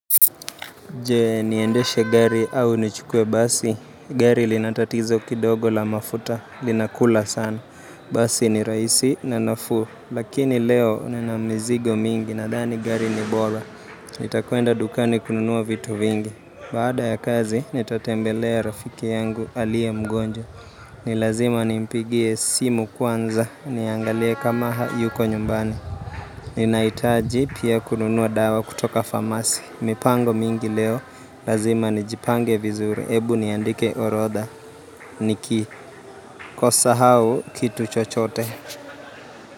Jee niendeshe gari au nichukue basi Gari linatatizo kidogo la mafuta linakula sana Basi ni raisi na nafuu Lakini leo ni na mizigo mingi na dhani gari ni bora Nitakwenda dukani kununua vitu vingi Baada ya kazi nitatembelea rafiki yangu aliye mgonjwa Nilazima nimpigie simu kwanza niangalie kama yuko nyumbani Ninaitaji pia kununua dawa kutoka famasi mipango mingi leo, lazima nijipange vizuri, ebu niandike orodha, niki, kosa au kitu chochote.